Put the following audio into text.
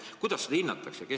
Kuidas seda hinnatakse?